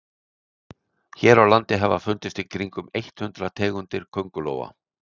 hér á landi hafa fundist í kringum eitt hundruð tegundir köngulóa